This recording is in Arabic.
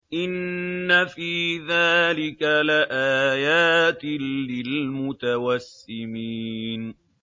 إِنَّ فِي ذَٰلِكَ لَآيَاتٍ لِّلْمُتَوَسِّمِينَ